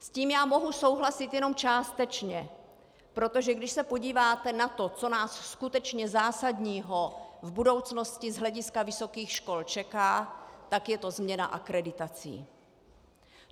S tím já mohu souhlasit jenom částečně, protože když se podíváte na to, co nás skutečně zásadního v budoucnosti z hlediska vysokých škol čeká, tak je to změna akreditací.